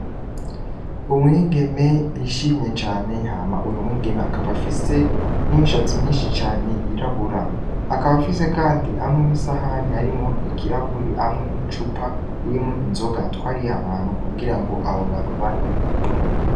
Umwigeme yishimye cane hama uwu mwigeme akaba afise n'imishatsi myinshi cane yirabura akaba afise, kandi amwe n'isahani arimo ikirawuri amwe n'icupa yemwe inzoga atwariyo abantu kugira ngo abo bantu banwe.